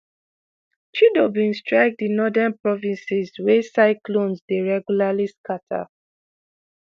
chido bin strike di northern provinces wey cyclones dey regularly scata.